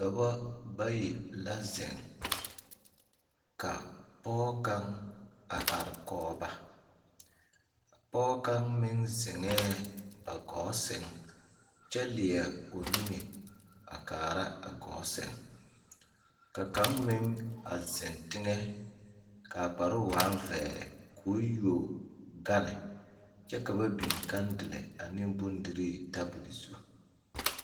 Dɔbɔ bayi la zeŋ Ka pɔge kaŋ a are kɔge ba pɔge kaŋ meŋ zeŋɛɛ ba gɔɔ sɛŋ kyɛ leɛ o niŋe a kaara a gɔɔ sɛŋ ka kaŋ meŋ a zeŋ teŋɛ ka a kparoo waa vɛɛ k'o yuo gane kyɛ kyɛ ka ba yuo kandile ane bondirii tabol zu.